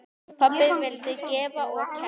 Pabbi vildi gefa og kenna.